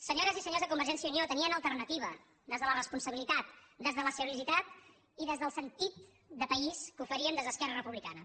senyores i senyors de convergència i unió tenien alternativa des de la responsabilitat des de la seriositat i des del sentit de país que oferíem des d’esquerra republicana